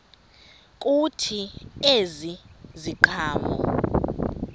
kuthi ezi ziqhamo